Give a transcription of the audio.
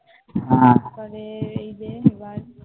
আমাদের এই যে